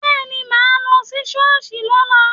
Bẹ́ẹ̀ni, mà á lọ sí ṣọ́ọ̀ṣì lọ́la